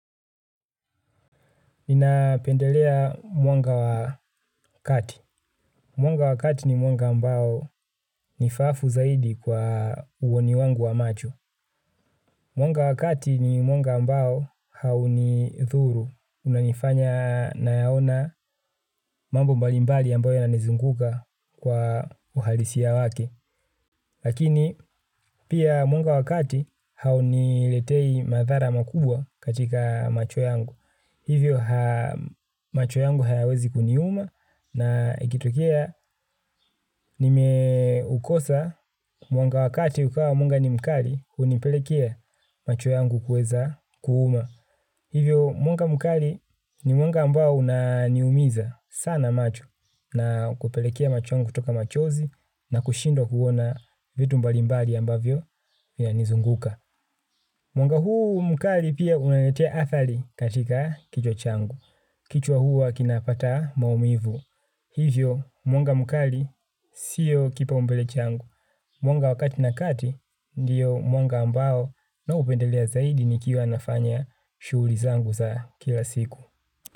Ninapendelea mwanga wa wakati. Mwangaza wa wakati ni mwanga ambao ni faafu zaidi kwa uoni wangu wa macho. Mwanga wa wakati ni mwanga mbao haunidhuru. Unanifanya nayaona mambo mbalimbali ambayo yananizunguka kwa uhalisia wake. Lakini pia mwanga wakati hauniletei madhara makubwa katika macho yangu. Hivyo macho yangu hayawezi kuniuma na ikitokea nimeukosa mwanga wakati ukawa mwanga ni mkali hunipelekea macho yangu kuweza kuuma. Hivyo mwanga mkali ni mwanga ambao unaniumiza sana macho. Na kupelekea macho yangu kutoka machozi na kushindwa kuona vitu mbalimbali ambavyo vinanizunguka. Mwanga huu mkali pia unaniletea athari katika kichwa changu. Kichwa huwa kinapata maumivu. Hivyo mwanga mkali sio kipaumbele changu. Mwanga wakati na kati ndiyo mwanga ambao ninaupendelea zaidi nikiwa nafanya shughuli zangu za kila siku.